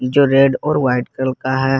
जो रेड और white colour का है।